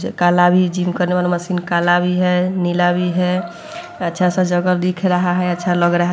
ज काला भी जिम करने वाला मशीन काला भी है नीला भी है अच्छा-सा जगह दिख रहा है अच्छा लग रहा --